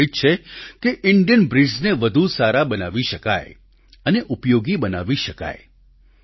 હેતુ એ જ છે કે ઈન્ડિયન બ્રિડ્સને વધુ સારા બનાવી શકાય અને ઉપયોગી બનાવી શકાય